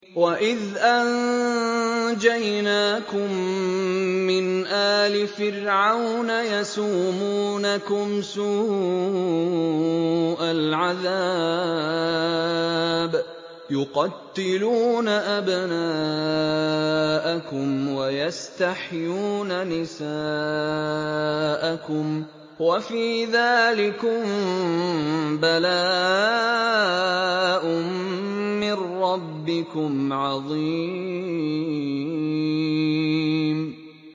وَإِذْ أَنجَيْنَاكُم مِّنْ آلِ فِرْعَوْنَ يَسُومُونَكُمْ سُوءَ الْعَذَابِ ۖ يُقَتِّلُونَ أَبْنَاءَكُمْ وَيَسْتَحْيُونَ نِسَاءَكُمْ ۚ وَفِي ذَٰلِكُم بَلَاءٌ مِّن رَّبِّكُمْ عَظِيمٌ